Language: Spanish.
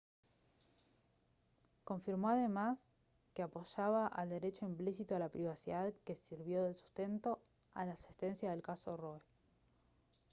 confirmó además que apoyaba al derecho implícito a la privacidad que sirvió de sustento a la sentencia del caso roe